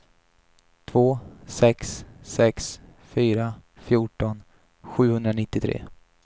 två sex sex fyra fjorton sjuhundranittiotre